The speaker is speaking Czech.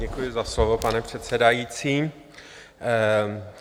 Děkuji za slovo, pane předsedající.